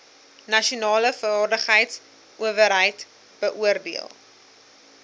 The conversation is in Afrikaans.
nasionale vaardigheidsowerheid beoordeel